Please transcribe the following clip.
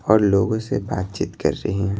और लोगों से बातचीत कर रहे हैं।